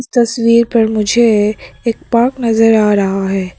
तस्वीर पर मुझे एक पार्क नजर आ रहा है।